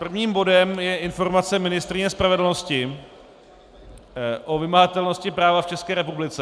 Prvním bodem je Informace ministryně spravedlnosti o vymahatelnosti práva v České republice.